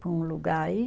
Para um lugar aí.